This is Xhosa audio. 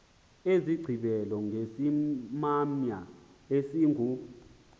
zigqibela ngesimamya esingu